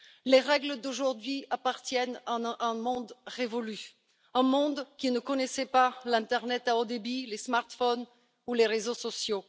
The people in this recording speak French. Les règles d'aujourd'hui appartiennent à un monde révolu, un monde qui ne connaissait pas l'internet à haut débit, les smartphones ou les réseaux sociaux.